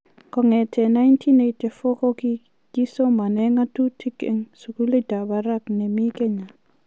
Kong'etegei 1984 kokii somane ng'atutiet eng sukulit ab barak nemii Kenya